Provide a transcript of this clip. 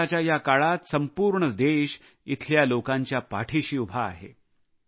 संकटाच्या या काळात संपूर्ण देश येथील लोकांच्या पाठीशी उभा आहे